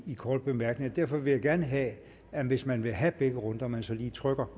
korte bemærkninger derfor vil jeg gerne have hvis man vil have begge runder at man så lige trykker